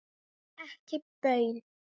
Ekki baun.